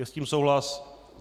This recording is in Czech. Je s tím souhlas.